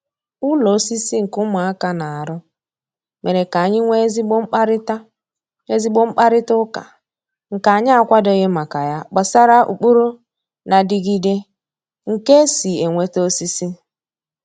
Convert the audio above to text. Ụlọ osisi nke ụmụaka na-arụ mere k'anyị nwee ezigbo mkparịta ezigbo mkparịta ụka nke anyị akwadoghị maka ya gbasara ụkpụrụ na-adịgịde nke e si enweta osisi.